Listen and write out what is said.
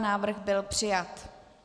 Návrh byl přijat.